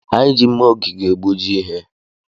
Anyị ji mma ogige egbuji ihe.